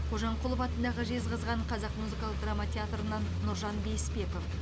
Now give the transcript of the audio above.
қожамқұлов атындағы жезқазған қазақ музыкалық драма театрынан нұржан бейсбеков